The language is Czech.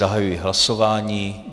Zahajuji hlasování.